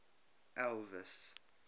elvis